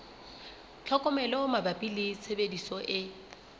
tlhokomelo mabapi le tshebediso e